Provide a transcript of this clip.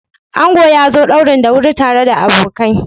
Ango ya zo ɗaurin da wuri tare da abokai.